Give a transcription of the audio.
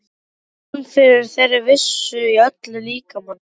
Fann fyrir þeirri vissu í öllum líkamanum.